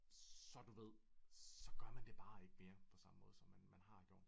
Så du ved så gør man det bare ikke mere på samme måde som man har gjort det